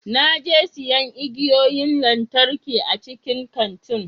Na je siyan igiyoyin lantarki a cikin kantin.